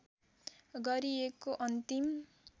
गरिएको अन्तिम